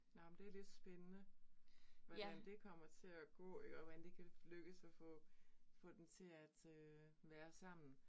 Nåh men det lidt spændende. Hvordan det kommer til at gå iggå, hvordan det kan lykkes at få, få dem til øh at være sammen